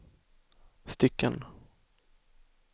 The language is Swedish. stycken